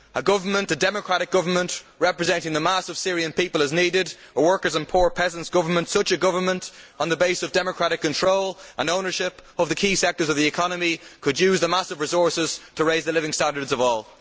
A democratic government representing the mass of the Syrian people is needed a workers' and poor peasants' government. Such a government, on the basis of democratic control and ownership of the key sectors of the economy, could use the country's massive resources to raise the living standards of all.